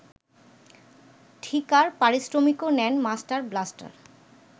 ঠিকার পারিশ্রমিকও নেন master blaster